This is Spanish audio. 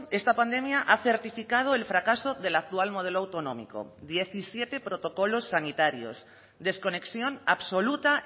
esta pandemia ha certificado el fracaso del actual modelo autonómico diecisiete protocolos sanitarios desconexión absoluta